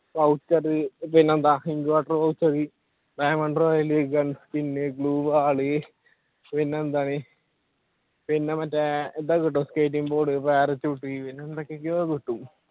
voucher പിന്നെയെന്താ diamond royale, gun skin, blue wall പിന്നെയെന്താണ് പിന്നെ മറ്റേ ഇതൊക്കെ കിട്ടും skating board, parachute എന്തോക്കെകെയോ കിട്ടും